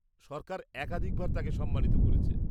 -সরকার একাধিকবার তাঁকে সম্মানিত করেছে।